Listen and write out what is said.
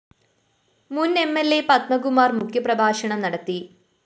മുന്‍ M L A Padmakumar‍ മുഖ്യപ്രഭാഷണം നടത്തി